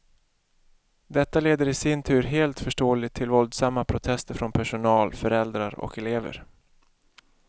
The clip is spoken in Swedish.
Detta leder i sin tur helt förståeligt till våldsamma protester från personal, föräldrar och elever.